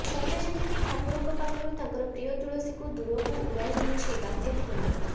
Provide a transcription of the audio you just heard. ସତେ ଯେମିତି ଠାକୁରଙ୍କ ପାଖରୁ ତାଙ୍କର ପ୍ରିୟ ତୁଳସୀକୁ ଦୂରକୁ ଉଡାଇ ନେଇଛି ବାତ୍ୟା ଫୋନି